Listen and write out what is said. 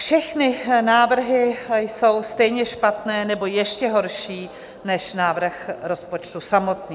Všechny návrhy jsou stejně špatné nebo ještě horší než návrh rozpočtu samotný.